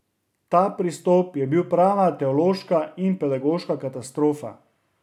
Ta pristop je bil prava teološka in pedagoška katastrofa.